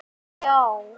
Og entist ekki í neinu.